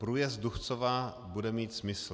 Průjezd Duchcova bude mít smysl.